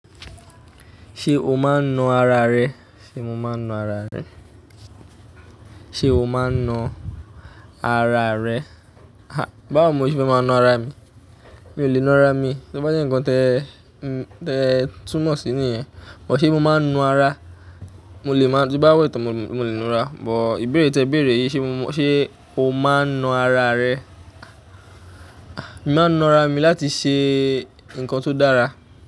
Ṣé o máa ń na ara rẹ? Sé mo máa ń na ara rẹ? Sé o máa ń na ara rẹ? Há! Báwo ní mo ṣe má ma na ara mi? Mi ò lè na ara mi. To bá jẹ́ ǹkan te, te túnmọ̀ sí nìyẹn. But ṣé mo máa ń na ara? Mo lè máa-- tí bá wẹ́ tán, mo lè na ara. But ìbéèrè tí ẹ béèrè yìí, ṣé mo, ṣé o máa ń na ara rẹ? Ah! Èmi máa ń na ara mi láti ṣe ǹkan tó dára.